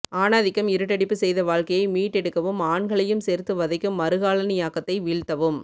ஆணாதிக்கம் இருட்டடிப்பு செய்த வாழ்க்கையை மீட்டெடுக்கவும் ஆண்களையும் சேர்த்து வதைக்கும் மறுகாலனியாக்கத்தை வீழ்த்தவும்